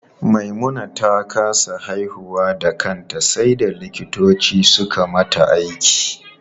Maimuna ta kasa haihuwa da kanta sai da likitoci suka mata aiki.